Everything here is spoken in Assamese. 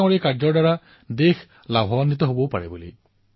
হব পাৰে তেওঁৰ এই কথা দেশবাসীৰ কামত আহিব পাৰে